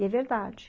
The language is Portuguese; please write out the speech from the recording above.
E é verdade.